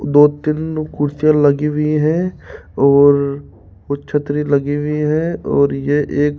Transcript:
दो तीन कुर्सियां लगी हुई हैं और कुछ छतरी लगी हुई हैं और ये एक --